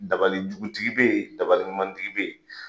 Dabalijugutigi bɛ yen dabaliɲumantigi bɛ yen.